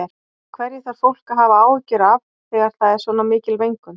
Hverju þarf fólk að hafa áhyggjur af þegar það er svona mikil mengun?